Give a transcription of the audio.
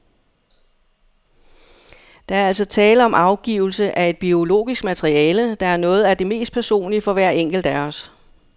Der er altså tale om afgivelse af et biologisk materiale, der er noget af det mest personlige for hver enkelt af os.